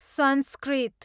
संस्कृत